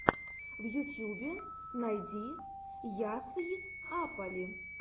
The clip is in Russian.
в ютьюбе найди ясйапали